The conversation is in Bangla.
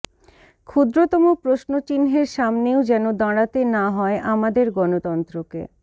ক্ষুদ্রতম প্রশ্নচিহ্নের সামনেও যেন দাঁড়াতে না হয় আমাদের গণতন্ত্রকে